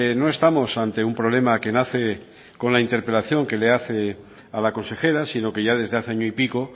no estamos ante un problema que nace con la interpelación que le hace a la consejera sino que ya desde hace año y pico